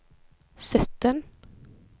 sytten